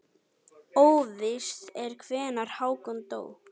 Óvíst er hvenær Hákon dó.